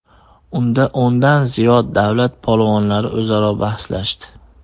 Unda o‘ndan ziyod davlat polvonlari o‘zaro bahslashdi.